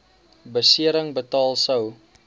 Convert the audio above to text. besering betaal sou